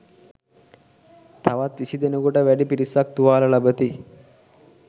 තවත් විසි දෙනෙකුට වැඩි පිරිසක් තුවාල ලබති.